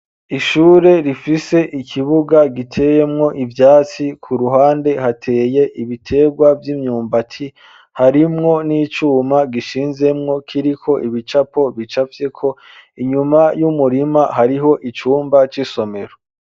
Ishure rifise ikibuga giteyemwo ivyatsi ku ruhande hateye ibitegwa vy'imyumbati harimwo n'icuma gishinzemwo kiriko ibicapo bicafye ko inyuma y'umurima hariho icumba c'isomero.